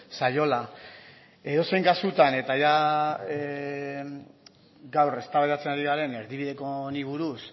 zaiola edozein kasutan eta gaur eztabaidatzen ari garen erdibideko honi buruz